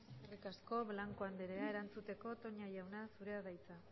eskerrik asko blanco anderea erantzuteko toña jauna zurea da hitza